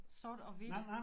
Sort og hvidt